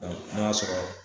n'a y'a sɔrɔ